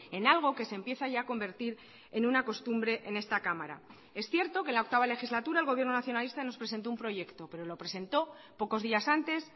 en algo que se empieza ya a convertir en una costumbre en esta cámara es cierto que la octava legislatura el gobierno nacionalista nos presentó un proyecto pero lo presentó pocos días antes